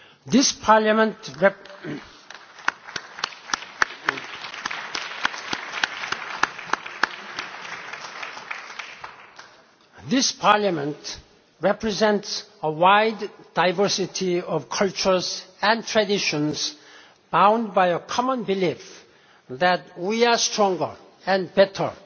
This Parliament represents a wide diversity of cultures and traditions bound by a common belief that we are stronger and better